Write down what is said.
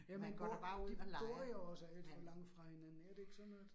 Jamen de bor jo også alt for langt fra hinanden er det ikke sådan noget?